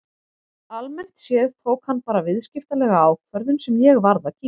Almennt séð tók hann bara viðskiptalega ákvörðun sem ég varð að kyngja.